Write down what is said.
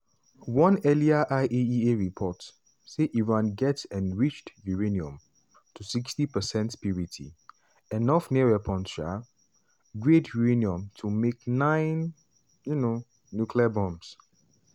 one earlier iaea report say iran get enriched uranium to 60 percent purity enough near weapons um grade uranium to make nine um nuclear bombs.